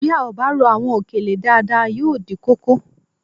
Bí a ò bá rò àwọn òkèlè dáadáa yóò dí kókó